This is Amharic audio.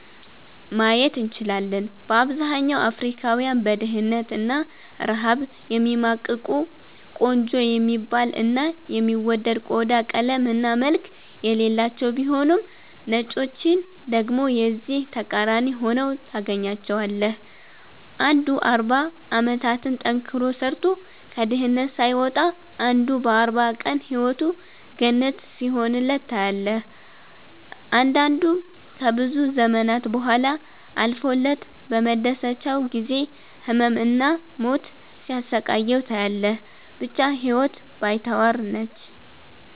ማየት እንችላለን። በአብዛኛው አፍሪካውያን በድህነት እና ረሃብ የሚማቅቁ፤ ቆንጆ የሚባል እና የሚወደድ ቆዳ ቀለም እና መልክ የሌላቸው ቢሆኑም ነጮችን ደግሞ የዚህ ተቃራኒ ሁነው ታገኛቸዋለህ። አንዱ 40 አመታትን ጠንክሮ ሰርቶ ከድህነት ሳይወጣ አንዱ በ 40 ቀን ህይወቱ ገነት ሲሆንለት ታያለህ። አንዳንዱ ከብዙ ዘመናት ቡሃላ አልፎለት በመደሰቻው ጊዜ ህመም እና ሞት ሲያሰቃየው ታያለህ። ብቻ ህይወት ባይተዋር ነች።